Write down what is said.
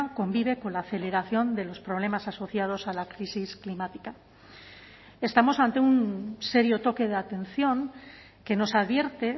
convive con la aceleración de los problemas asociados a la crisis climática estamos ante un serio toque de atención que nos advierte